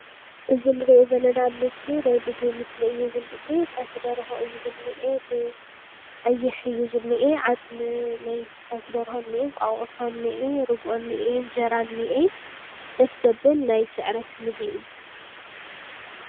እዚ ንሪኦ ዘለና ምስሊ ናይ ምግቢ ምስሊ እዩ ዝኒአ። ፀብሒ ደርሆ እዩ ዝኒኤ አብቀይሕ እዩ ዝኒኤ። ዓፅሚ ናይቲ ፀብሒ ደርሆ እንሀ ፤እንቃቑሖ እኒኤ ፤ርግኦ እኒአ፤ እንጀራ እኒአ፤ ደስ ዘብል ናይ ስዕረት ምግቢ እዩ ።